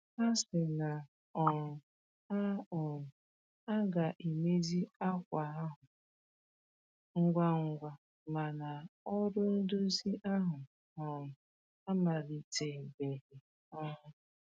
Ha sị na um a um a ga-emezi akwa ahụ ngwa ngwa, ma na ọrụ ndozi ahụ um amalite-beghi um